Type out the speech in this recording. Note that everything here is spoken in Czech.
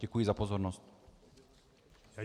Děkuji za pozornost.